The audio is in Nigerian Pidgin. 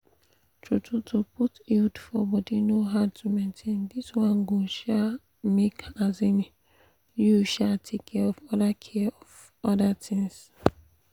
true-true to put iud for body no hard to maintain. this one go um make um you um take care of other care of other things.